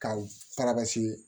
Ka fara ka se